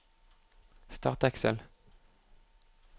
Start Excel